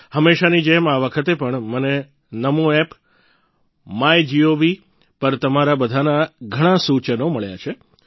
હંમેશાની જેમ આ વખતે પણ મને નમો એપ માય જીઓવી પર તમારા બધાના ઘણાં સૂચનો મળ્યા છે